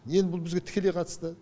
енд бұл бізге тікелей қатысты